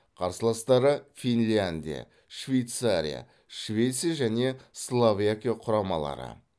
қарсыластары финляндия швейцария швеция және словакия құрамалары